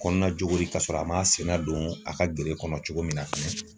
Kɔnɔna jogori ka sɔrɔ a m'a sen nadon a ka gere kɔnɔ cogo min na fɛnɛ.